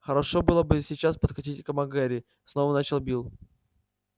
хорошо было бы сейчас подкатить к мак гэрри снова начал билл